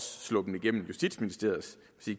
sluppet igennem justitsministeriets